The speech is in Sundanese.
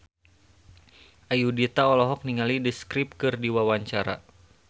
Ayudhita olohok ningali The Script keur diwawancara